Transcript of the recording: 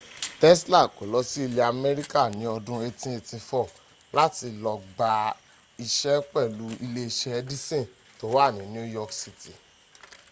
tesla kó lọ sí ilẹ̀ america ní ọdún 1884 láti lọ gba iṣẹ́ pẹ̀lú ilé-iṣẹ́ edison tó wà ní new york cit